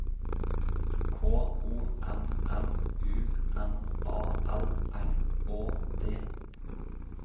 K O M M U N A L R Å D